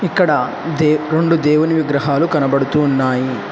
ఇక్కడ దేవ్ రెండు దేవుని విగ్రహాలు కనబడుతున్నాయి.